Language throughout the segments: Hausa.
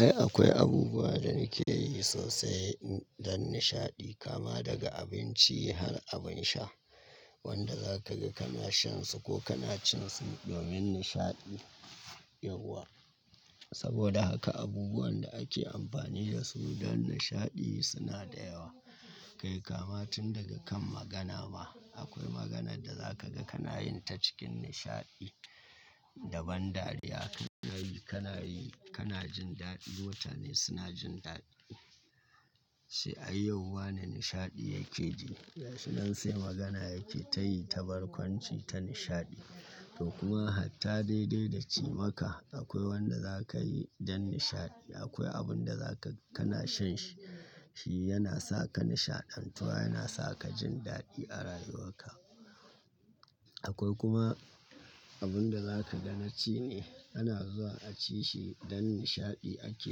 Ai akwai abubuwa da nake yi sosai don nishaɗi kama daga abinci har abin sha wanda za ka ga kana shan su ko kana cin su domin nishaɗi yauwa. Saboda haka abubuwan da ake amfani da su don nishaɗi suna da yawa. Kai kama tun daga kan magana ma akwai maganar da za ka ga kana yin ta cikin nishaɗi da ban dariya. Kana yi, kana yi, kana jin daɗi, mutane suna jin daɗi. Sai ayyauan na nishaɗi yake ji. Shin nan sai magana yake ta yi ta barkwanci ta nishaɗi. To kuma hatta daidai da cimaka akwai wanda za ka yi don nishaɗi. Akwai abun da za ka kana shan shi, shi yana sa ka nishaɗantuwa, yana sa ka jin daɗi a rayuwarka. Akwai kuma abun da za ka ga na ci ne. Kana zuwa a ci shi don nishaɗi ake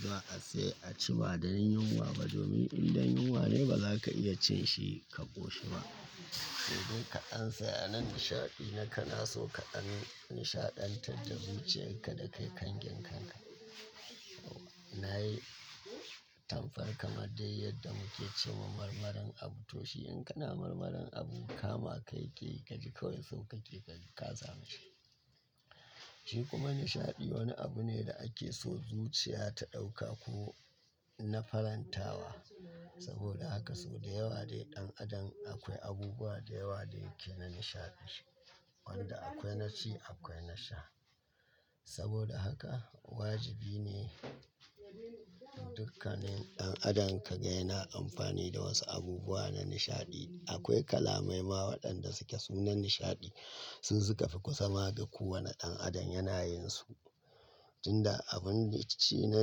zuwa a sai a ci ba dan yunwa ba domin in dan yunwa ne ba za ka iya cin shi ka ƙoshi ba. Sai dai ka ansa yanar nishaɗi na kana so ka an nishaɗantar da zuciyarka da kai kangenkanka. Na yi. Tanfarka mar dai yadda muke cewa marmarin abu to shi in kana marmaran abu kama kai ke gaji kawai sau ka ke gaji ka zama shi. Shi kuma nishaɗi wani abu ne da ake so zuciya ta ɗauka ko na farantawa. Saboda haka sau da yawa dai ɗan adam akwai abubuwa da yawa da yake na nishaɗi. Wanda akwai na ci, akwai na sha. Saboda haka wajibi ne dukkanin ɗan adam ka ga yana amfani da wasu abubuwa na nishaɗi. Akwai kalamai ma waɗanda suke sunan nishaɗi. Su suka fi kusama da ku wane ɗan adam yana yin su. Tin da abun ci na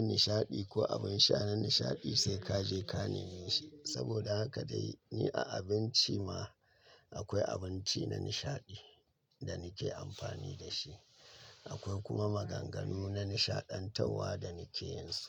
nishaɗi ko abin sha na nishaɗi sai ka je ka nemi shi. Saboda haka dai ni a abinci ma akwai abinci na nishaɗi da nake amfani da shi. Akwai kuma maganganu na nishaɗantarwa da nake yin su.